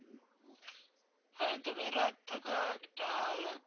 হ্যাঁ, তবে রাত থাকা একটা